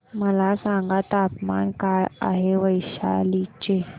मला सांगा तापमान काय आहे वैशाली चे